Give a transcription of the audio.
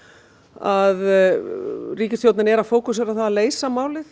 að ríkisstjórnin er að fókusera á það að leysa málið